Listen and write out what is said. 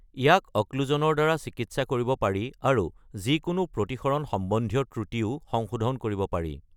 ইয়াক অক্লুচনৰ দ্বাৰা চিকিৎসা কৰিব পাৰি, আৰু যিকোনো প্ৰতিসৰণ-সম্বন্ধীয় ত্ৰুটিও সংশোধন কৰিব পাৰি।